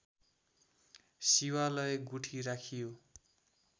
शिवालय गुठी राखियो